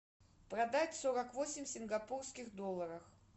продать сорок восемь сингапурских долларов